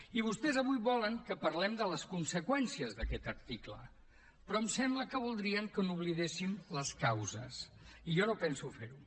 i vostès avui volen que parlem de les conseqüències d’aquest article però em sembla que voldrien que n’oblidéssim les causes i jo no penso fer ho